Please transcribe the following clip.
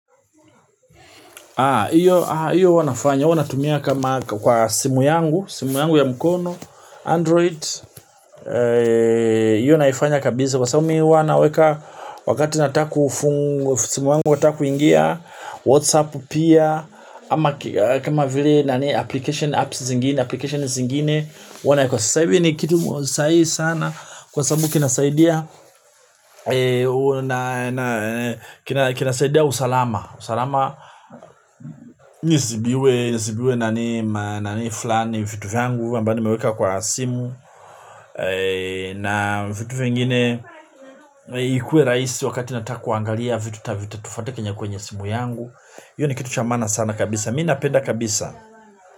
Iyo huwa nafanya, huwa natumia kama kwa simu yangu, simu yangu ya mkono, android, iyo naifanya kabisa, kwa sababu mi huwa naweka wakati nataka kufungu, simu yangu wata kuingia, whatsapp pia, ama kama vile application apps zingine, application zingine, wana kwa saa hii ni kitu sahihi sana, kwa sababu kina saidia, kina saidia usalama, usalama nisiibiwe, siibiwe nani flani vitu vyangu ambao nimeweka kwa simu na vitu vengine ikue raisi wakati natakuangalia vitu ta vitu tufate kwenye kwenye simu yangu hiyo ni kitu chamaana sana kabisa mina penda kabisa.